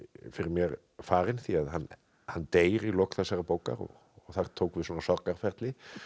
fyrir mér farinn því hann deyr í lok þessarar bókar og þar tók við svona sorgarferli